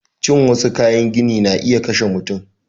Cin wassu kayan gini na iya kashe mutum